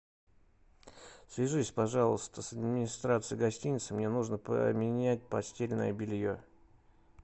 свяжись пожалуйста с администрацией гостиницы мне нужно поменять постельное белье